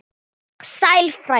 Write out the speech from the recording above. Sæll frændi!